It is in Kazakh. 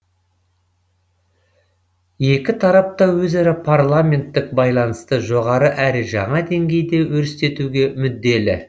екі тарап та өзара парламенттік байланысты жоғары әрі жаңа деңгейде өрістетуге мүдделі